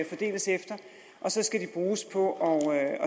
fordeles efter og så skal de bruges på at